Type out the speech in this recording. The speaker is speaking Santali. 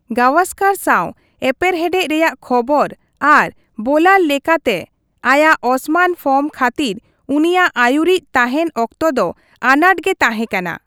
ᱜᱟᱣᱟᱥᱠᱟᱨ ᱥᱟᱣ ᱮᱯᱮᱨᱦᱮᱰᱮ ᱨᱮᱭᱟᱜ ᱠᱷᱚᱵᱚᱨ ᱟᱨ ᱵᱳᱞᱟᱨ ᱞᱮᱠᱟᱛᱮ ᱟᱭᱟᱜ ᱚᱥᱚᱢᱟᱱ ᱯᱷᱚᱨᱢ ᱠᱷᱟᱹᱛᱤᱨ ᱩᱱᱤᱭᱟᱜ ᱟᱹᱭᱩᱨᱤᱡᱽ ᱛᱟᱦᱮᱱ ᱚᱠᱛᱚ ᱫᱚ ᱟᱱᱟᱸᱴ ᱜᱮ ᱛᱟᱸᱦᱮ ᱠᱟᱱᱟ ᱾